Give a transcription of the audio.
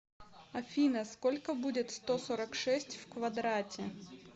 афина сколько будет сто сорок шесть в квадрате